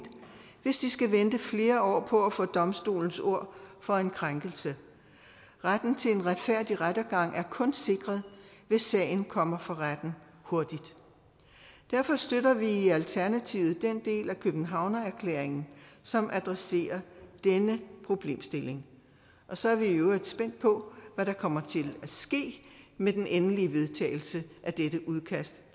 hvis de skal vente flere år på at få domstolens ord for en krænkelse retten til en retfærdig rettergang er kun sikret hvis sagen kommer for retten hurtigt derfor støtter vi i alternativet den del af københavnererklæringen som adresserer denne problemstilling og så er vi i øvrigt spændt på hvad der kommer til at ske med den endelige vedtagelse af dette udkast